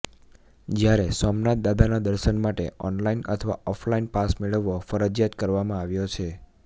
જ્યારે સોમનાથ દાદાના દર્શન માટે ઓનલાઇન અથવા ઓફ લાઇન પાસ મેળવવો ફરજિયાત કરવામાં આવ્યો છે